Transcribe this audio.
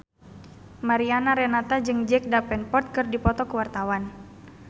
Mariana Renata jeung Jack Davenport keur dipoto ku wartawan